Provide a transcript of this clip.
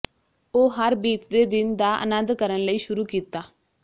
ਉਹ ਹਰ ਬੀਤਦੇ ਦਿਨ ਦਾ ਆਨੰਦ ਕਰਨ ਲਈ ਸ਼ੁਰੂ ਕੀਤਾ